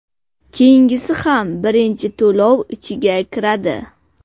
Keyingisi ham birinchi to‘lov ichiga kiradi.